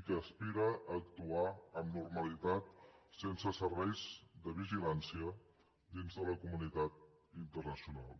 i que aspira a actuar amb normalitat sense serveis de vigilància dins de la comunitat internacional